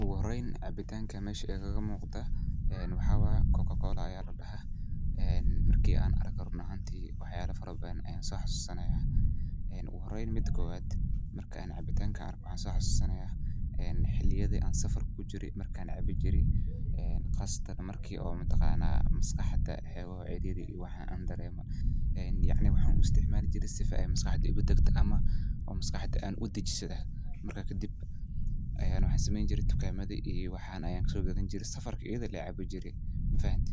Ogu horeyn cabitanka mesha igaga muqda en maxa waye cocacola aya ladhaha ,marki an arko run ahanti wax yabo fara badan ayan soo xasuusanaya. Ogu horeyn mida kobad, marka en cabitanka an arko waxan soo xasuusanaya en xiliyadi an safarka kujiro markan caabi jire en qaasatan markii oo mataqana maskaxda woxoga caariri iyo wax an dareemo en yacni waxan u isticmaali jire sifo ay maskaxda igu degto ama an maskaxda udejisada marka kadib aya waxan sameeyni jire tagamada iyo waxan ayan kaso gaadani, safarka ayada len caabi jire, mafahante.